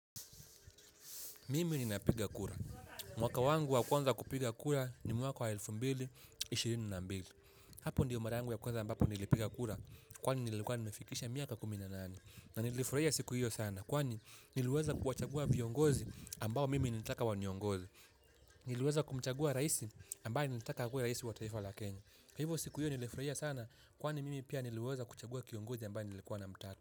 Mimi nina piga kura. Mwaka wangu wa kwanza kupiga kura ni mwaka wa elfu mbili na ishirini na mbili. Hapo ndio mara yangu ya kwanza ambapo nilipiga kura kwani nilikuwa nimefikisha miaka kumi na nane. Na nilifurahia siku hiyo sana kwani niluweza kuwachagua viongozi ambao mimi nataka waniongoze. Niliweza kumchagua raisi ambaye nilitaka akuwe raisi wa taifa la Kenya. Hivyo siku hiyo nilifurahia sana kwani mimi pia niliweza kumchagua kiongozi ambaye nilikuwa na mtaka.